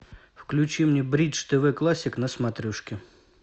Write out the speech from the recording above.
включи мне бридж тв классик на смотрешке